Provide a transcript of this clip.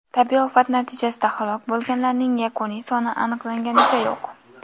Tabiiy ofat natijasida halok bo‘lganlarning yakuniy soni aniqlanganicha yo‘q.